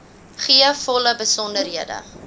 gee volle besonderhede